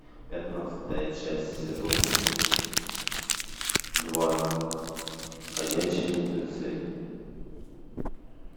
пятнадцатая часть сезона два ходячие мертвецы